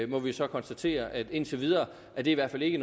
må vi så konstatere indtil videre i hvert fald ikke